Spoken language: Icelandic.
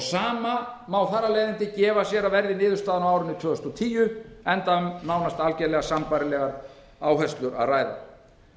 sama má þar af leiðandi gefa sér að verði niðurstaðan á árinu tvö þúsund og tíu enda um nánast algjörlega sambærilegar áherslur að ræða